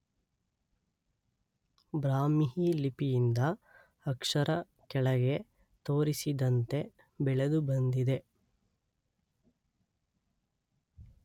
ಬ್ರಾಹ್ಮಿ ಲಿಪಿಯಿಂದ ಅಕ್ಷರ ಕೆಳಗೆ ತೋರಿಸಿದಂತೆ ಬೆಳೆದು ಬಂದಿದೆ.